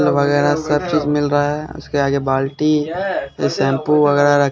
वगैरह सब चीज मिल रहा है उसके आगे बाल्टी शैंपू वगैरा र--